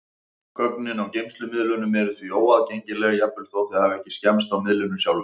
Gögnin á geymslumiðlunum eru því óaðgengileg, jafnvel þó þau hafi ekki skemmst á miðlinum sjálfum.